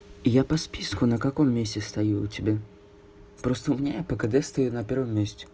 я по списку на каком месте стою у тебя просто у меня я по кд стою на первом месте